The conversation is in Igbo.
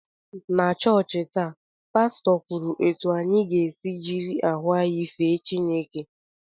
Na chọọchị taa, Pastọ kwuru etu anyị ga-esi jiri ahụ anyị fee Chineke